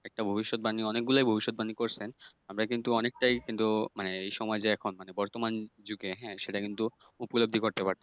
একটা ভবিষ্যদ্বাণী অনেকগুলাই ভবিষ্যদ্বাণী করছেন। আমরা কিন্তু অনেকটাই কিন্তু মানে এ সমাজে এখন মানে বর্তমান যুগে হ্যাঁ সেটা কিন্তু উপলব্ধি করতে পারতেছি।